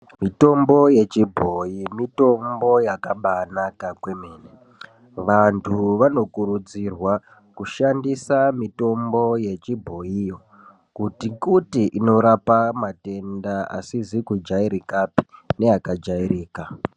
Mitombo yechibhoyi ,mitombo yakabaanaka kwemene, vantu vanokurudzirwa kushandisa mitombo yechibhoyiyo, kuti-kuti inorapa matenda asizi kujayirika neakajayirika.